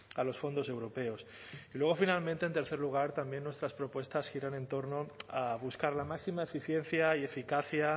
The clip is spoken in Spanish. a los fondos europeos y luego finalmente en tercer lugar también nuestras propuestas giran en torno a buscar la máxima eficiencia y eficacia